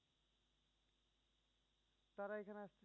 তারা এখানে আসলে